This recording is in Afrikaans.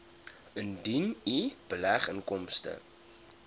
indien u beleggingsinkomste